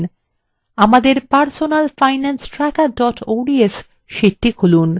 আমাদের personal finance tracker ods sheetটি খুলুন